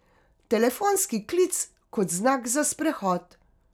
Telefonski klic kot znak za sprehod.